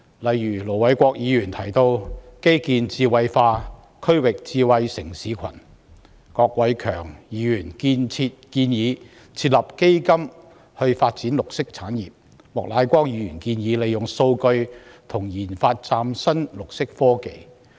例如盧偉國議員提到基建智慧化、區域智慧城市群；郭偉强議員建議設立基金發展綠色產業；莫乃光議員建議利用數據及研發嶄新綠色科技。